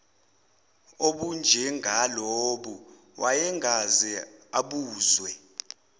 obunjengalobu wayengakaze abuzwe